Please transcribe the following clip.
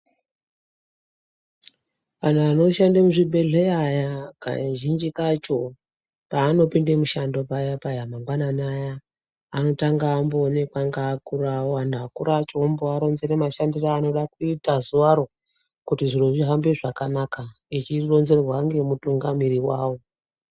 Vanhu vanoshanda mizvibhedhlera aya kazhinji kacho panopinda mushando paya-paya mangwanani aya. Anotanga awonekwa neakura awo vovaronzera mashandiro avanoda kuita zuvaro kuti zviro zvihambe zvakanaka echironzerwa nemutungamiriri wavo.